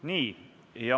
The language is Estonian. Nii.